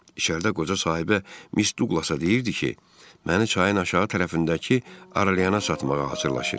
İçəridə qoca sahibə Miss Duqlasa deyirdi ki, məni çayın aşağı tərəfindəki aralyana satmağı arzulayırdı.